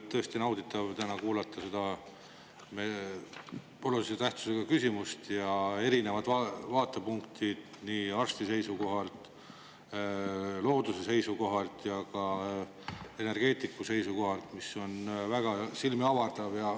Tõesti nauditav täna kuulata seda olulise tähtsusega küsimust, erinevad vaatepunktid, nii arsti seisukohalt, looduse seisukohalt ja ka energeetiku seisukohalt, mis on väga silmi avardav.